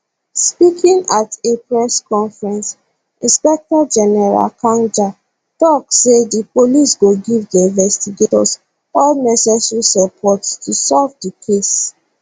speaking at a press conference inspector general kanja tok say di police go give di investigators all necessary support to solve di case